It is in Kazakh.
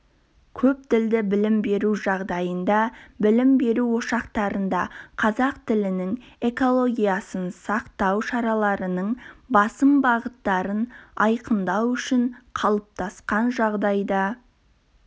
көптілді білім беру жағдайында білім беру ошақтарында қазақ тілінің экологиясын сақтау шараларының басым бағыттарын айқындау үшін қалыптасқан жағдайды